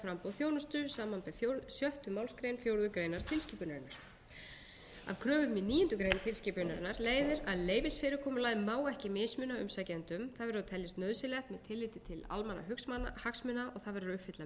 samanber sjöttu málsgrein fjórðu grein tilskipunarinnar af kröfum í níundu grein tilskipunarinnar leiðir að leyfisfyrirkomulagið má ekki mismuna umsækjendum það verður að teljast nauðsynlegt með tilliti til almannahagsmuna og það verður að uppfylla meðalhófsreglu